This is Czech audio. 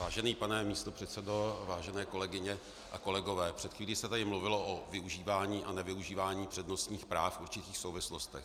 Vážený pane místopředsedo, vážené kolegyně a kolegové, před chvílí se tady mluvilo o využívání a nevyužívání přednostních práv v určitých souvislostech.